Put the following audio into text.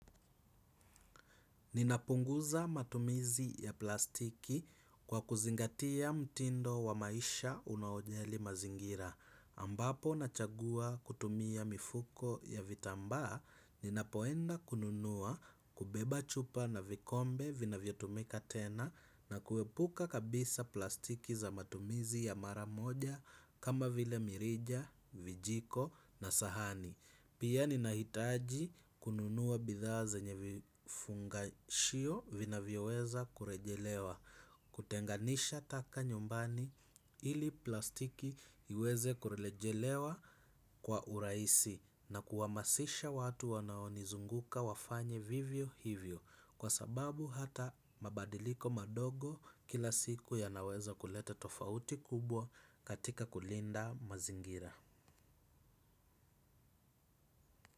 Ninapunguza matumizi ya plastiki, kwa kuzingatia mtindo wa maisha unaojali mazingira. Ambapo nachagua kutumia mifuko ya vitambaa, ninapoenda kununua, kubeba chupa na vikombe vinavyotumika tena na kuepuka kabisa plastiki za matumizi ya mara moja kama vile mirija, vijiko na sahani. Pia, ninahitaji kununua bidhaa zenye vifungashio, vinavyoweza kurejelewa, kutenganisha taka nyumbani, ili plastiki iweze kurejelewa. Kwa uraisi. Na kuwamasisha watu wanaonizunguka wafanye vivyo hivyo. Kwa sababu, hata mabadiliko madogo kila siku yanaweza kuleta tofauti kubwa katika kulinda mazingira.